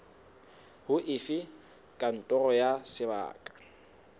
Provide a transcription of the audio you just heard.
ho efe kantoro ya sebaka